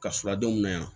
Ka sɔrɔ denw na yan